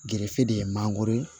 Gerefe de ye mangoro ye